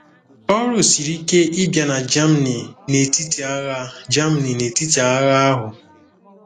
Ọrụ siri ike ịbịa na Germany n'etiti agha Germany n'etiti agha ahụ.